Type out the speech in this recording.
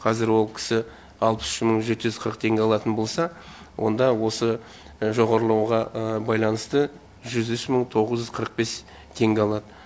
қазір ол кісі алпыс үш мың жеті жүз қырық үш теңге алатын болса онда осы жоғарылауға байланысты жүз үш мың тоғыз жүз қырық бес теңге алатын болады